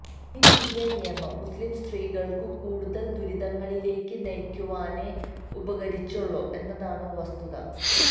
ഈ പുതിയ നിയമം മുസ്ലീം സ്ത്രീകളക്കു കൂടുതല് ദുരിതങ്ങളിലേയ്ക്കു നയിക്കുവാനേ ഉപകരിച്ചുള്ളു എന്നതാണ് വസ്തുത